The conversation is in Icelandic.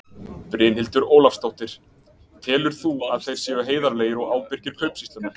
Brynhildur Ólafsdóttir: Telur þú að þeir séu heiðarlegir og ábyrgir kaupsýslumenn?